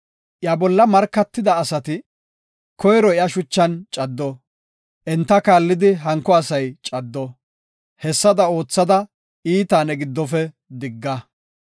Iya bolla markatida asati koyro iya shuchan caddo; enta kaallidi hanko asay caddo. Hessada oothada, iitaa ne giddofe digga.